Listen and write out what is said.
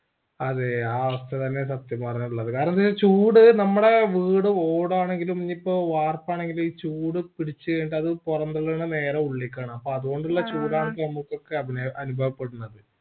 അതെ ആ അവസ്ഥ തെന്നെ സത്യം പറഞ്ഞഉള്ളത് കാരണം ചൂട് നമ്മടെ വീട് ഓടാണെങ്കിലും ഇനിയിപ്പോ വാർപ്പാണെങ്കിലും ഈ ചൂട് പിടിച്ച് കഴിഞ്ഞിട്ട് അത് പൊറംതള്ളണ നേരെ ഉള്ളിക്കാണ് അപ്പൊ അതുകൊണ്ടുള്ള ചൂടാണ് ഇപ്പൊ ഞമ്മക്കൊക്കെ അനുഭവപ്പെടുന്നത്